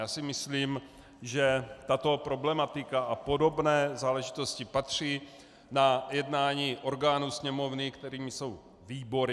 Já si myslím, že tato problematika a podobné záležitosti patří na jednání orgánů Sněmovny, kterými jsou výbory.